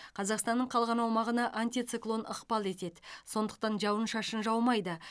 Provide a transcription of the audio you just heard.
қазақстанның қалған аумағына антициклон ықпал етеді сондықтан жауын шашын жаумайды